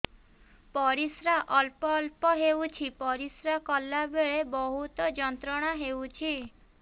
ପରିଶ୍ରା ଅଳ୍ପ ଅଳ୍ପ ହେଉଛି ପରିଶ୍ରା କଲା ବେଳେ ବହୁତ ଯନ୍ତ୍ରଣା ହେଉଛି